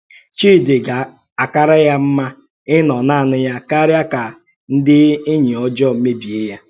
Chídì gà-àkàrà ya mma ínọ̀ naanị ya kárí ka ndí ènì òjọọ mèbìè ya.